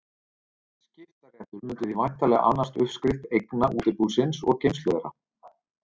Skiptaréttur mundi því væntanlega annast uppskrift eigna útibúsins og geymslu þeirra.